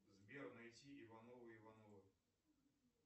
сбер найти ивановы ивановы